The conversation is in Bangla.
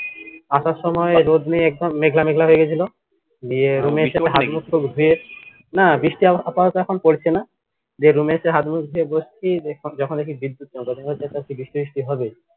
আসার সময় রোদ নেই একদম মেঘলা মেঘলা হয়ে গেছিলো দে room এ এসে হাতমুখ টুখ ধুয়ে না বৃষ্টি আপাতত এখন পড়ছেনা দে room এ এসে হাতমুখ ধুয়ে বসছি যখন দেখি বিদ্যুৎ বৃষ্টি হবে